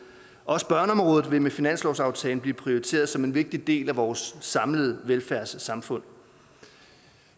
også børneområdet vil med finanslovsaftalen blive prioriteret som en vigtig del af vores samlede velfærdssamfund